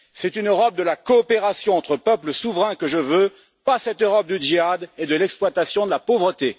C'est une Europe de la coopération entre peuples souverains que je veux, pas cette Europe du djihad et de l'exploitation de la pauvreté.